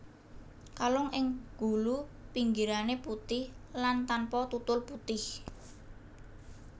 Kalung ing gulu pinggirané putih lan tanpa tutul putih